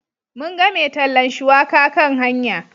Mun ga mai tallan shuwaka kan hanya.